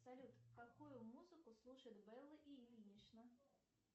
салют какую музыку слушает белла ильинична